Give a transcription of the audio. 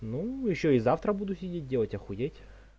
ну ещё и завтра буду сидеть делать охуеть